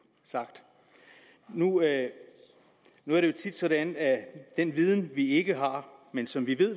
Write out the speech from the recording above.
sagt nu er det jo tit sådan at den viden vi ikke har men som vi ved at